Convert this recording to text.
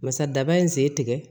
Basa daba in sen tigɛ